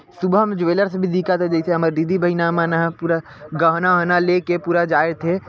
Subham jewellers भी दिखत हे जैसे हमर दीदी बहिना मन ह पूरा गहना -वहना लेके पूरा जाए थे ।